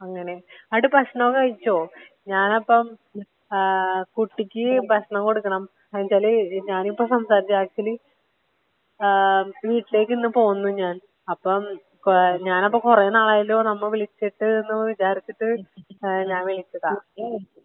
അങ്ങനെ ഒക്കെ കാര്യങ്ങള്.അങ്ങനെ ന്നിട്ട് ഭക്ഷണം ഒക്കെ കഴിച്ചോ? ഞാൻ അപ്പൊ ഏഹ് കുട്ടിക്ക് ഭക്ഷണം കൊടുക്കണം എന്ന് വച്ചാല് ഞാനിപ്പോ സംസാരിച്ചത് ആക്ച്വലി ഏഹ് വീട്ടിലേക്ക് ഇന്ന് പോവുന്നു ഞാൻ.അപ്പം ഞാൻ അപ്പൊ കൊറേ നാളായല്ലോ നമ്മള് വിളിച്ചിട്ട് എന്ന് വിചാരിച്ചിട്ട് ഞാൻ വിളിച്ചതാ.